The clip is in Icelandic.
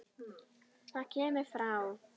Það kemur frá